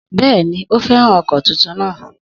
Bẹ́ẹ̀ni, ó fẹ́ràn ọkọ̀ tuntun náà